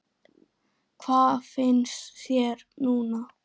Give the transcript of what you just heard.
Hvað finnst þér núna?